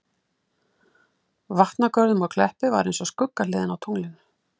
Vatnagörðum og Kleppi var eins og skuggahliðin á tunglinu.